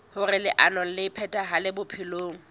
hoer leano le phethahale bophelong